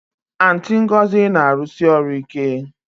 Aunty Ngozi na-arụsi ọrụ ike